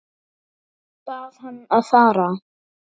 Bað hann að fara.